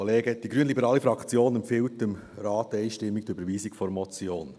Die grünliberale Fraktion empfiehlt dem Rat einstimmig die Überweisung der Motion.